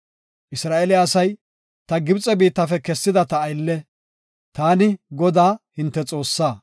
Isra7eele asay, ta Gibxe biittafe kessida ta aylle. Taani, Godaa hinte Xoossaa.